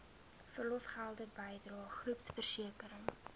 verlofgelde bydrae groepversekering